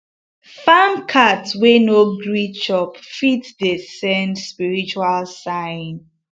farm cat wey no gree chop fit dey send spiritual sign